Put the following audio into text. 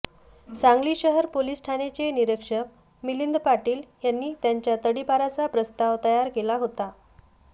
सांगली शहर पोलीस ठाण्याचे निरीक्षक मिलिंद पाटील यांनी त्याच्या तडीपारीचा प्रस्ताव तयार केला होता